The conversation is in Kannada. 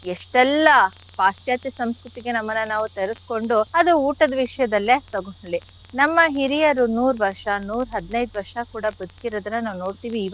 ಎಷ್ಟೆಲ್ಲ ಪಾಶ್ಚಾತ್ಯ ಸಂಸ್ಕೃತಿಗೆ ನಮ್ಮನ್ನ ನಾವು ತೆರೆಸ್ಕೊಂಡು ಅದು ಊಟದ ವಿಷ್ಯದಲ್ಲೇ ತಗೊಳ್ಳಿ ನಮ್ಮ ಹಿರಿಯರು ನೂರ್ ವರ್ಷ ನೂರ್ ಹದ್ನೈದ್ ವರ್ಷ ಕೂಡ ಬದ್ಕಿರೋದನ್ನ ನಾವ್ ನೋಡ್ತಿವಿ.